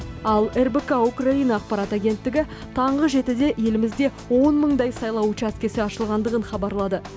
ал рбк украина ақпарат агенттігі таңғы жетіде елімізде он мыңдай сайлау учаскесі ашылғандығын хабарлады